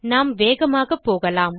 நாம் வேகமாக போகலாம்